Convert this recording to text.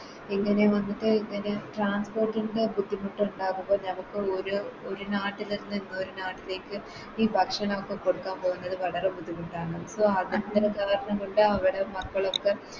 ഇങ്ങനെ വന്നിട്ട് ഇങ്ങനെ Transport ൻറെ ബുദ്ധിമുട്ടുണ്ടാവുക നമുക്ക് ഓരോ ഒരു നാട്ടിൽ നിന്ന് ഒരു നാട്ടിലേക്ക് ഈ ഭക്ഷണോക്കെ കൊടുക്കാൻ പോകുന്നത് വളരെ ബുദ്ധിമുട്ടാണ് അവരെ മക്കളൊക്കെ